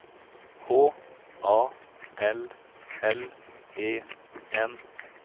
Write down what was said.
H A L L E N